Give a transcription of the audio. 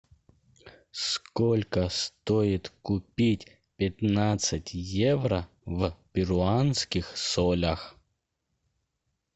сколько стоит купить пятнадцать евро в перуанских солях